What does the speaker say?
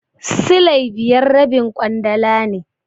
Silai biyar rabin ƙwandala ne.